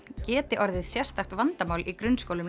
geti orðið sérstakt vandamál í grunnskólum